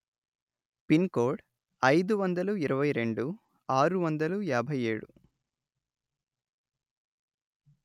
pin కోడ్అయిదు వందలు ఇరవై రెండు ఆరు వందలు యాభై ఏడు